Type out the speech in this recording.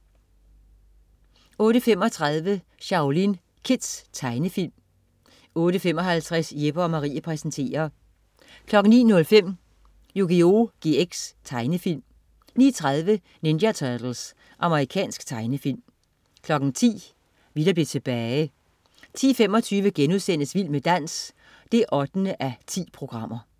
08.35 Shaolin Kids. Tegnefilm 08.55 Jeppe & Marie præsenterer 09.05 Yugioh GX. Tegnefilm 09.30 Ninja Turtles. Amerikansk tegnefilm 10.00 Vi der blev tilbage 10.25 Vild med dans 8:10*